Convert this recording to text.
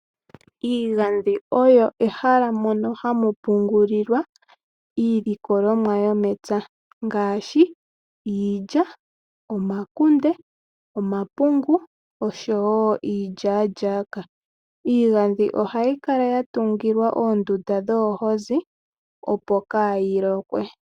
Iigadhi oyo ehala mpono hapu pungulwa iilikolomwa yomepya ngaashi iilya, omakunde, omapungu oshowo iilyalyaka. Iigadhi ohayi kala yatungilwa oondunda dhoohozi ndhono hakutiwa oohaka opo kaayilokwe.